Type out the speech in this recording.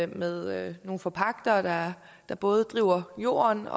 med nogle forpagtere der både driver jorden